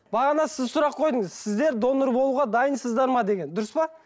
бағана сіз сұрақ қойдыңыз сіздер донор болуға дайынсыздар ма деген дұрыс па